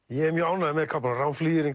ég er mjög ánægður með kápuna rán